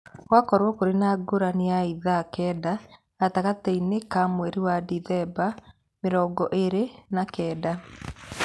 Gwakorũo kũrĩ na ngũrani ya ithaa kenda gatagatĩ-inĩ kao mweri-inĩ wa Dicemba 29.